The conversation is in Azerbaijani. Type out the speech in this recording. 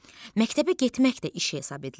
Məktəbə getmək də iş hesab edilir.